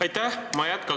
Aitäh!